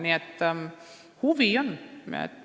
Nii et huvi on.